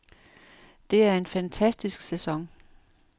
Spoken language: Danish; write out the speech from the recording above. Det er en fantastisk sæson.